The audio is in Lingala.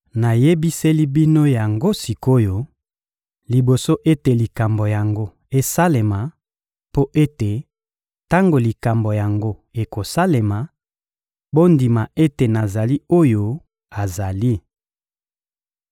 Namiyebiseli bino yango sik’oyo, liboso ete likambo yango esalema, mpo ete, tango likambo yango ekosalema, bondima ete nazali oyo azali.